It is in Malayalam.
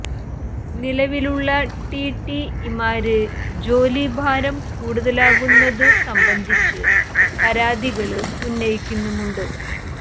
നിലവിലുള്ള ടി ടി ഇമാര് ജോലി ഭാരം കൂടുതലാകുന്നതു സംബന്ധിച്ച് പരാതികള് ഉന്നയിക്കുന്നുമുണ്ട്